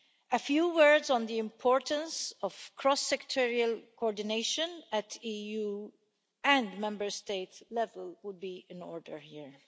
A few words on the importance of cross-sectoral coordination at EU and Member State level would be in order here.